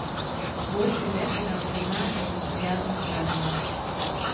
Boljše je, če ga prizna in se sprijazni s kaznijo.